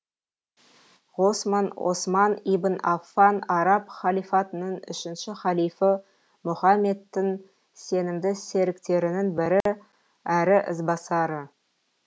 ғосман осман ибн аффан араб халифатының үшінші халифы мұхаммедтің сенімді серіктерінің бірі әрі ізбасары